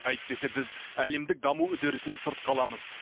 әйтпесе біз әлемдік даму үдерісінен сырт қаламыз